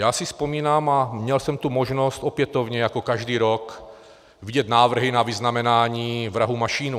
Já si vzpomínám, a měl jsem tu možnost opětovně jako každý rok vidět návrhy na vyznamenání vrahů Mašínů.